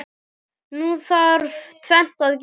Nú þarf tvennt að gerast.